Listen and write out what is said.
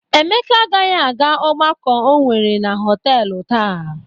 Emeka agaghị aga ọgbakọ o nwere na họtelụ taa.